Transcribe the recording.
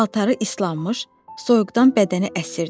Paltarı islanmış, soyuqdan bədəni əsirdi.